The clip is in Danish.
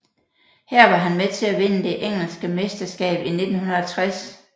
Her var han med til at vinde det engelske mesterskab i 1960